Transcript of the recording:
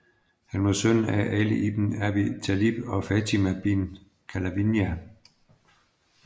Han var søn af Ali ibn Abi Talib og Fatima bint Qalabiyya